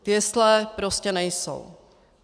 Jesle prostě nejsou.